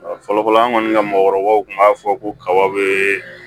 Fɔlɔfɔlɔ an kɔni ka mɔgɔkɔrɔbaw tun b'a fɔ ko kaba bɛ